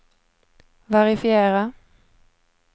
verifiera